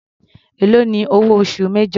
Èló ni owó oṣù major.